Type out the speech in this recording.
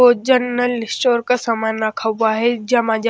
ओ general store का समान रखा हुआ है जमाजा--